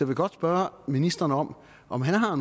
vil godt spørge ministeren om om han har